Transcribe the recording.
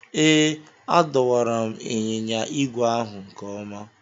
Ee, adọwara m ịnyịnya ígwè ahụ nke ọma.